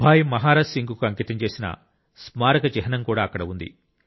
భాయ్ మహారాజ్ సింగ్ కు అంకితం చేసీన స్మారక చిహ్నం కూడా అక్కడ ఉంది